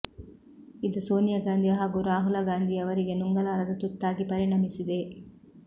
ಇದು ಸೋನಿಯಾ ಗಾಂಧಿ ಹಾಗೂ ರಾಹುಲ ಗಾಂಧಿಯವರಿಗೆ ನುಂಗಲಾರದ ತುತ್ತಾಗಿ ಪರಿಣಮಿಸಿದೆ